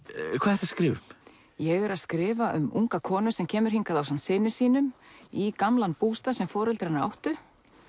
ertu að skrifa um ég er að skrifa um unga konu sem kemur hingað ásamt syni sínum í gamlan bústað sem foreldrar hennar áttu